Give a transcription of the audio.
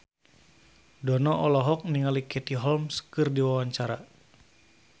Dono olohok ningali Katie Holmes keur diwawancara